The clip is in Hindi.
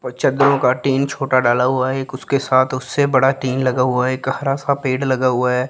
और चद्दरों का टीन छोटा डाला हुआ है एक उसके साथ उससे बड़ा टीन लगा हुआ है एक हरा सा पेड़ लगा हुआ है।